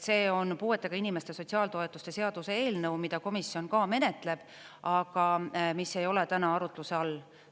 See on puuetega inimeste sotsiaaltoetuste seaduse eelnõu, mida komisjon ka menetleb, aga mis ei ole täna arutluse all.